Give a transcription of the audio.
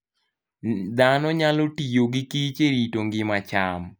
Dhano nyalo tiyo gi kich e rito ngima cham.